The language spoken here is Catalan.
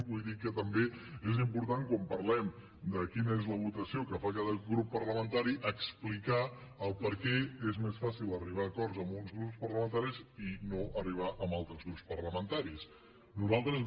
vull dir que també és important quan parlem de quina és la votació que fa cada grup parlamentari explicar per què és més fàcil arribar a acords amb uns grups i no arribar hi amb altres grups parlamentaris